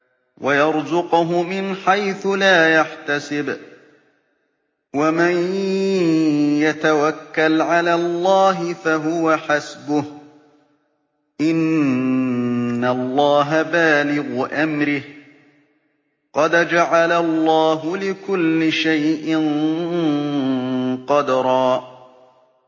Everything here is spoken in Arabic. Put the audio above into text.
وَيَرْزُقْهُ مِنْ حَيْثُ لَا يَحْتَسِبُ ۚ وَمَن يَتَوَكَّلْ عَلَى اللَّهِ فَهُوَ حَسْبُهُ ۚ إِنَّ اللَّهَ بَالِغُ أَمْرِهِ ۚ قَدْ جَعَلَ اللَّهُ لِكُلِّ شَيْءٍ قَدْرًا